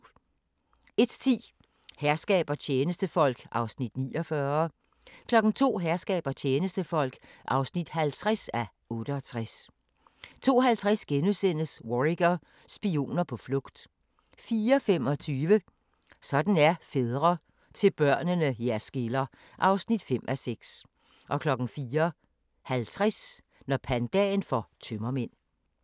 01:10: Herskab og tjenestefolk (49:68) 02:00: Herskab og tjenestefolk (50:68) 02:50: Worricker: Spioner på flugt * 04:25: Sådan er fædre - til børnene jer skiller (5:6) 04:50: Når pandaen får tømmermænd